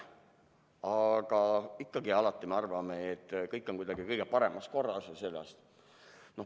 Aga ikkagi, alati me arvame, et kõik on kuidagi kõige paremas korras ja sedasi.